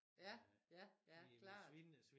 Ja ja ja klart